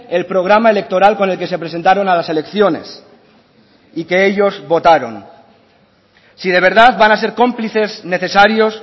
el programa electoral con el que se presentaron a las elecciones y que ellos votaron si de verdad van a ser cómplices necesarios